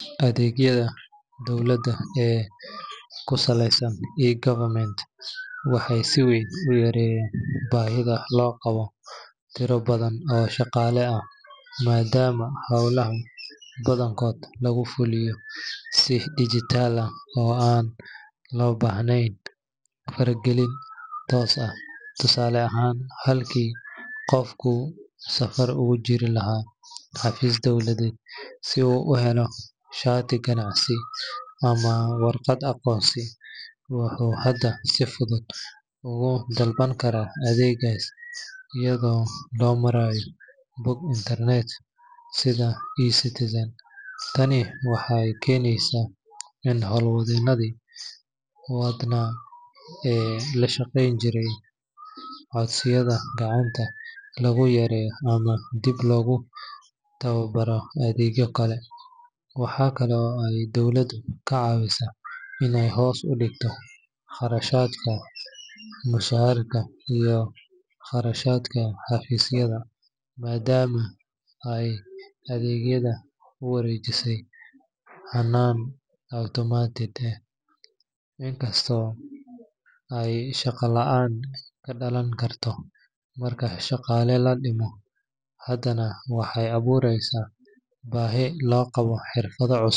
Adeegyada dowladda ee ku saleysan eGovernment waxay si weyn u yareeyaan baahida loo qabo tiro badan oo shaqaale ah, maadaama howlaha badankood lagu fuliyo si dijitaal ah oo aan loo baahnayn faragelin toos ah. Tusaale ahaan, halkii qofku saf ugu jiri lahaa xafiis dowladeed si uu u helo shati ganacsi ama warqad aqoonsi, wuxuu hadda si fudud ugu dalban karaa adeeggaas iyadoo loo marayo bog internet sida eCitizen. Tani waxay keenaysaa in hawl-wadeenadii badnaa ee la shaqeyn jiray codsiyada gacanta lagu yareeyo ama dib loogu tababaro adeegyo kale. Waxa kale oo ay dowladda ka caawisaa in ay hoos u dhigto kharashaadka mushaaraadka iyo kharashka xafiisyada, maadaama ay adeegyada u wareejisay hannaan automated ah. Inkasta oo ay shaqo la’aan ka dhalan karto marka shaqaale la dhimo, haddana waxay abuureysaa baahi loo qabo xirfado cusub.